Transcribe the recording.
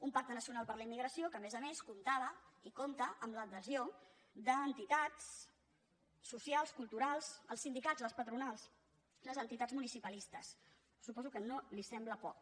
un pacte nacional per a la immigració que a més a més comptava i compta amb l’adhesió d’entitats socials culturals els sindicats les patronals les entitats municipalistes suposo que no li sembla poc